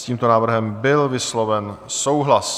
S tímto návrhem byl vysloven souhlas.